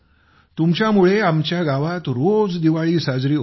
तुमच्यामुळे आमच्या गावात रोज दिवाळी साजरी होते